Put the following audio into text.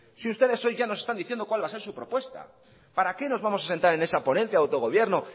si ustedes hoy ya nos están diciendo cuál va a ser su propuesta para qué nos vamos a sentar en esa ponencia de autogobierno